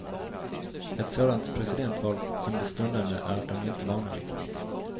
Ett sådant presidentval som det stundande är de inte vana vid.